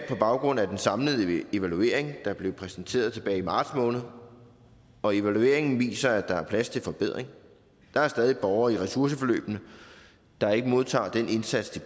på baggrund af den samlede evaluering der blev præsenteret tilbage i marts måned og evalueringen viser at der er plads til forbedring der er stadig borgere i ressourceforløbene der ikke modtager den indsats de